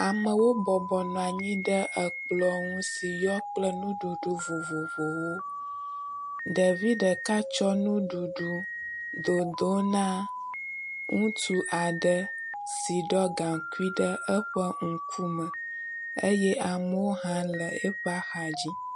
Amewo bɔbɔnɔa nyi ɖe ekplɔ̃ ŋu si yɔ kple nuɖuɖu vovovowo. Ɖevi ɖeka tsɔ nuɖuɖu dodo na ŋutsu aɖe si ɖɔ gaŋkui ɖe eƒe ŋku me eye amewo hã le eƒa xa dzi.